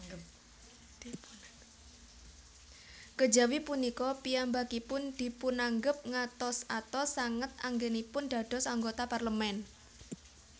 Kejawi punika piyambakipun dipunanggep ngatos atos sanget anggènipun dados anggota Parlemen